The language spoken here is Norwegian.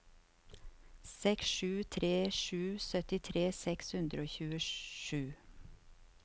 seks sju tre sju syttitre seks hundre og tjuesju